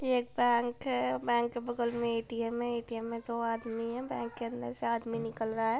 ये एक बैंक है। बैंक के बगल के ए.टी.एम. है। ए.टी.एम. मे दो आदमी है। बैंक के अंदर से आदमी निकल रहा है।